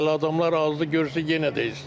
Hələ adamlar azdır, görsə yenə də istidir.